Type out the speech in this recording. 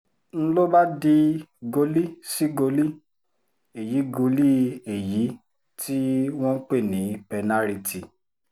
n ló bá di goli sí goli èyí goli èyí tí wọ́n ń pè ní pẹ́nàrìtì